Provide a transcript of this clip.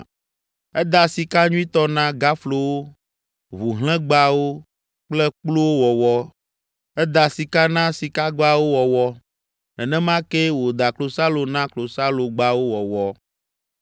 Eda sika nyuitɔ na gaflowo, ʋuhlẽgbawo kple kpluwo wɔwɔ. Eda sika na sikagbawo wɔwɔ. Nenema kee wòda klosalo na klosalogbawo wɔwɔ.